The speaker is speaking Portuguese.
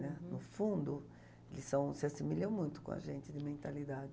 né. No fundo, eles são, se assimilam muito com a gente de mentalidade.